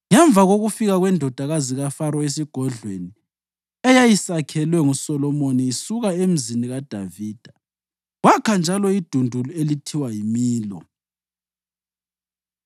Ngemva kokufika kwendodakazi kaFaro esigodlweni eyayisakhelwe nguSolomoni isuka eMzini kaDavida, wakha njalo idundulu elithiwa yiMilo.